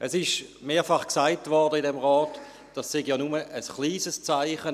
Es wurde im Rat mehrfach gesagt, dies sei ja nur ein kleines Zeichen.